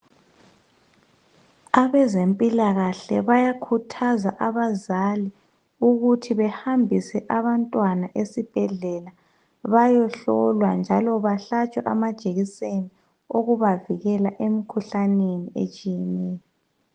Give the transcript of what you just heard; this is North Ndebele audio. Abezempilakahle bayakhuthaza abazali ukuthi behambise abantwana esibhedlela bayehlolwa njalo bahlatshwe amajejiseni okubavikela emkhuhlaneni etshiyeneyo.